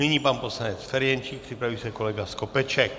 Nyní pan poslanec Ferjenčík, připraví se kolega Skopeček.